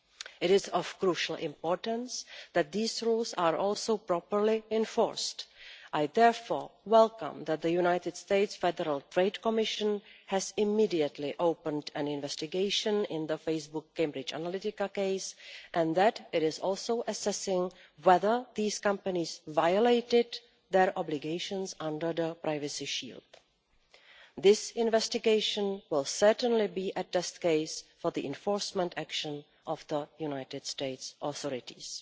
It is of crucial importance that these rules are also properly enforced. I therefore welcome that the United States Federal Trade Commission has immediately opened an investigation in the Facebook Cambridge Analytica case, and that it is also assessing whether these companies violated their obligations under the Privacy Shield. This investigation will certainly be a test case for the enforcement action of the United States authorities.